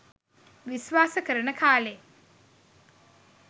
විස්වාස කරන කාලේ